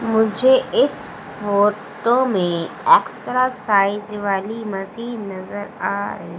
मुझे इस फोटो में एक्सरसाइज वाली मशीन नजर आ रही--